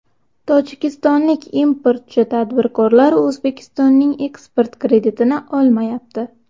Tojikistonlik importchi tadbirkorlar O‘zbekistonning eksport kreditini olmayapti.